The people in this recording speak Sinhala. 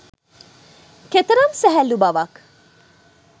කෙතරම් සැහැල්ලු බවක්